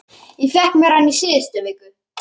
Ég fékk mér hann í síðustu viku.